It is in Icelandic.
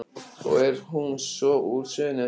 Og er hún svo úr sögunni að sinni.